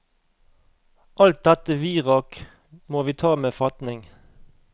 Alt dette virak må vi ta med fatning.